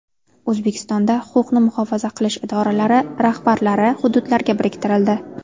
O‘zbekistonda huquqni muhofaza qilish idoralari rahbarlari hududlarga biriktirildi.